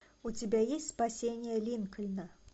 у тебя есть спасение линкольна